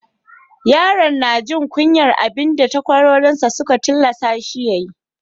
Yaron ya na jin kunyan abin da takwarorin sa sun tillasa shi ya yi.